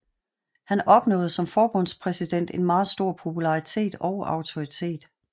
Han opnåede som forbundspræsident en meget stor popularitet og autoritet